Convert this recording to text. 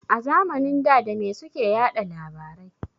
A zamanin da dame suke yaɗa labarai.